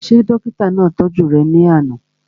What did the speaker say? Ṣé dókítà náà tọ́jú rẹ̀ ní àná?